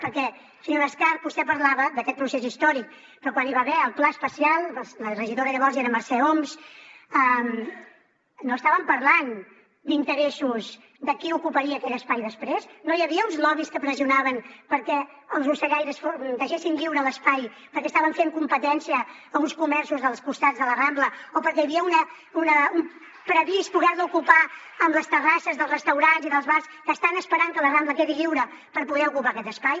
perquè senyora escarp vostè parlava d’aquest procés històric però quan hi va haver el pla especial la regidora llavors era mercè homs no estàvem parlant d’interessos de qui ocuparia aquell espai després no hi havia uns lobbys que pressionaven perquè els ocellaires deixessin lliure l’espai perquè estaven fent competència a uns comerços dels costats de la rambla o perquè hi havia previst poder lo ocupar amb les terrasses dels restaurants i dels bars que estan esperant que la rambla quedi lliure per poder ocupar aquest espai